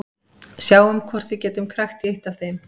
Sjáum hvort við getum krækt í eitt af þeim.